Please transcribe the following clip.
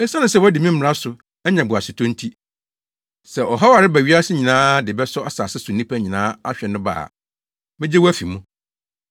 Esiane sɛ woadi me mmara so anya boasetɔ nti, sɛ ɔhaw a ɛreba wiase nyinaa de bɛsɔ asase so nnipa nyinaa ahwɛ no ba a, megye wo afi mu.